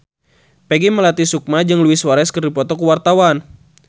Peggy Melati Sukma jeung Luis Suarez keur dipoto ku wartawan